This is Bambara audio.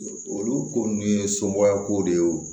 Olu ko nunnu ye somɔgɔya kow de ye